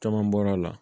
Caman bɔra a la